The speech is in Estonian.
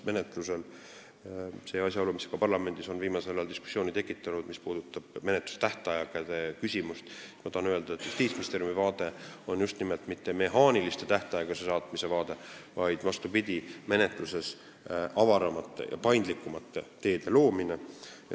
Menetlustähtaegade kohta – see asjaolu on ka parlamendis viimasel ajal diskussiooni tekitanud – tahan öelda, et Justiitsministeeriumi vaade ei ole mitte mehaaniline, vastupidi, me peame oluliseks menetluses avaramate ja paindlikumate teede loomist.